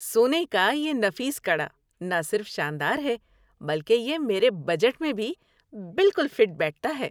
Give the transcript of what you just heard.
سونے کا یہ نفیس کڑا نہ صرف شاندار ہے بلکہ یہ میرے بجٹ میں بھی بالکل فٹ بیٹھتا ہے۔